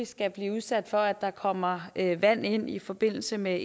skal blive udsat for at der pludselig kommer vand ind i forbindelse med